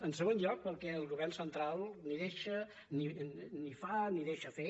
en segon lloc perquè el govern central ni fa ni deixa fer